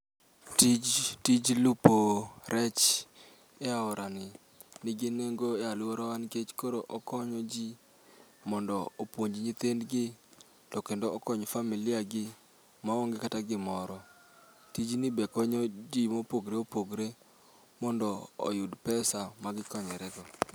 Tij tij lupo rech e aora ni nigi nengo e alworawa nikech koro okonyo ji mondo opuonj nyithindgi, to kendo okony familia gi maonge kata gimoro. Tijni be konyo ji mopogre opogre, mondo oyud pesa ma gikonyore go.